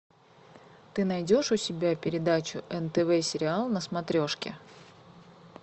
ты найдешь у себя передачу нтв сериал на смотрешке